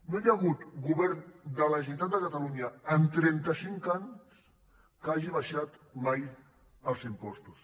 no hi ha hagut govern de la generalitat de catalunya en trenta cinc anys que hagi baixat mai els impostos